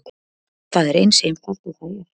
Það er eins einfalt og það er.